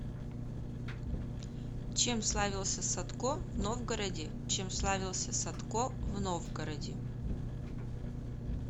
чем славился садко в новгороде чем славился садко в новгороде